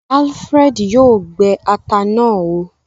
Alfred yoo gbé atá náa óò